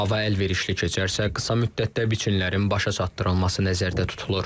Hava əlverişli keçərsə, qısa müddətdə biçinlərin başa çatdırılması nəzərdə tutulur.